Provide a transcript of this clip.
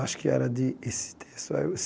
Acho que era de esse texto.